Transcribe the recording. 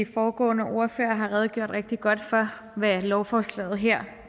foregående ordførere har redegjort rigtig godt for hvad lovforslaget her